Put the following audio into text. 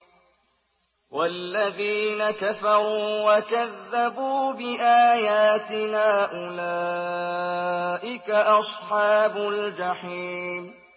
وَالَّذِينَ كَفَرُوا وَكَذَّبُوا بِآيَاتِنَا أُولَٰئِكَ أَصْحَابُ الْجَحِيمِ